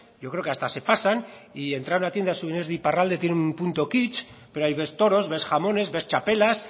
yo creo que hasta se pasan y entrar a una tienda de iparralde tiene un punto kitch pero ahí ves toros ves jamones ves txapelas